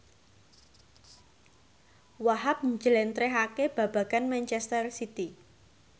Wahhab njlentrehake babagan manchester city